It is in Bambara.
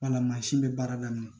Wala mansin bɛ baara daminɛ